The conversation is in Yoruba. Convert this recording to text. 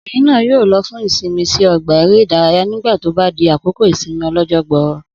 Obìnrin náà yóò lo fún ìsinmi sí ọgbà eré ìdárayá náà tó bá di àsìkò ìsinmi ọlọ́jọ́ gbọrọ